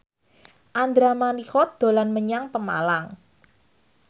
Andra Manihot dolan menyang Pemalang